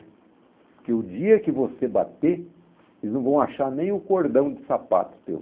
Porque o dia que você bater, eles não vão achar nem o cordão de sapato teu.